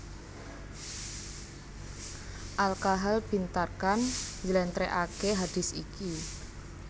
Al Kahal bin Tharkan njlèntrèhake hadits iki